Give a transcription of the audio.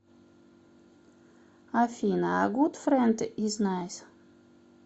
афина а гуд фрэнд из найс